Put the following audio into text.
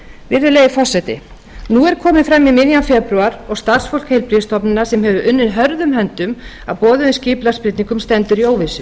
virðulegi forseti nú er komið fram í miðjan febrúar og starfsfólk heilbrigðisstofnana hefur unnið hörðum höndum að boðuðum skipulagsbreytingum stendur í óvissu